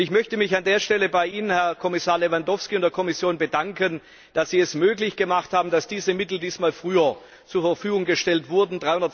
Ich möchte mich an dieser Stelle bei Ihnen, Herr Lewandowski, und bei der Kommission bedanken, dass Sie es möglich gemacht haben, dass diese Mittel dieses Mal früher zur Verfügung gestellt wurden.